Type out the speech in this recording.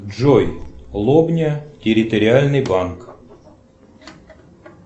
джой лобня территориальный банк